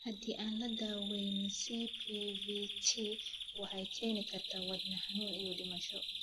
Haddii aan la daweyn CPVT waxay keeni kartaa wadna xanuun iyo dhimasho.